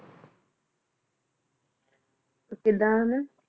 ਓ ਕਿੰਦਾ ਹਾਲ